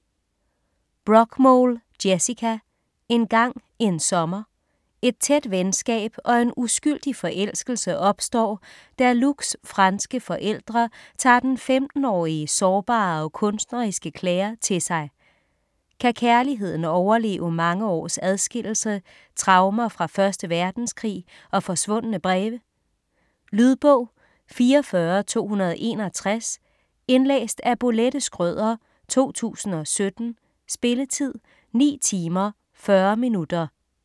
Brockmole, Jessica: Engang en sommer Et tæt venskab og en uskyldig forelskelse opstår, da Luc's franske forældre tager den 15-årige sårbare og kunstneriske Clare til sig. Kan kærligheden overleve mange års adskillelse, traumer fra 1. verdenskrig og forsvundne breve. Lydbog 44261 Indlæst af Bolette Schrøder, 2017. Spilletid: 9 timer, 40 minutter.